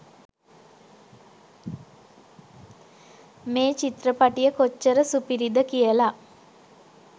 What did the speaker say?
මේ චිත්‍රපටිය කොච්චර සුපිරිද කියලා